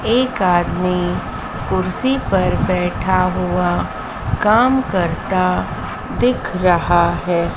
एक आदमी कुर्सी पर बैठा हुआ काम करता दिख रहा है।